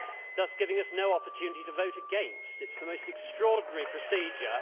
thus giving us no opportunity to vote against. It is the most extraordinary procedure.